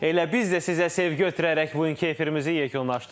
Elə biz də sizə sevgi ötürərək bugünkü efirimizi yekunlaşdırırıq.